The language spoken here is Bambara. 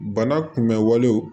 Bana kunbɛnwale